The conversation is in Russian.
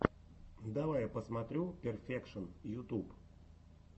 давай я посмотрю перфекшон ютуб